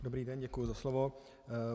Dobrý den, děkuji za slovo.